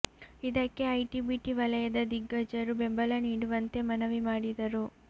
ಇದಕ್ಕೆ IT BT ವಲಯದ ದಿಗ್ಗಜರು ಬೆಂಬಲ ನೀಡುವಂತೆ ಮನವಿ ಮಾಡಿದರು